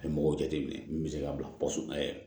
A ye mɔgɔw jateminɛ min bɛ se ka bila